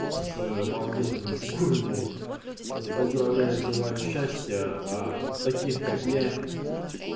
с обалденными фигурами поздравляю желаю счастья а таких как я